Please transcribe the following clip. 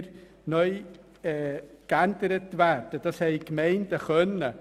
Das lag in der Kompetenz der Gemeinden.